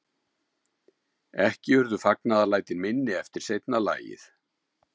Ekki urðu fagnaðarlætin minni eftir seinna lagið.